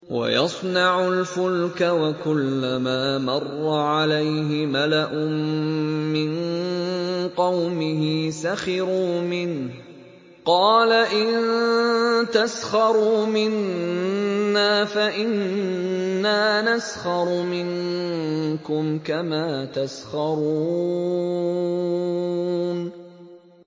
وَيَصْنَعُ الْفُلْكَ وَكُلَّمَا مَرَّ عَلَيْهِ مَلَأٌ مِّن قَوْمِهِ سَخِرُوا مِنْهُ ۚ قَالَ إِن تَسْخَرُوا مِنَّا فَإِنَّا نَسْخَرُ مِنكُمْ كَمَا تَسْخَرُونَ